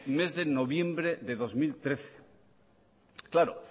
mes de noviembre de dos mil trece claro